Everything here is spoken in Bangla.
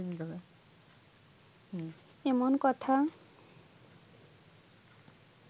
এমন কথা